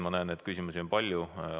Ma näen, et küsimusi on palju.